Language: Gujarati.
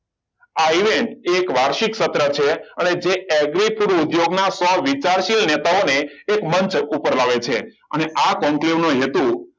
આ event એક વાર્ષિક સત્ર છે અને જે એગ્રી ફૂડ ઉદ્યોગના સો વિચારશીલ નેતાઓને એક મંચ ઉપર લાવે છે અને આ conclave નું હેતુ